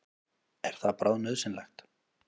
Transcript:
Er það bráðnauðsynlegt?